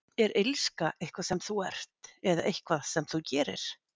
Er illska eitthvað sem þú ert, eða eitthvað sem þú gerir?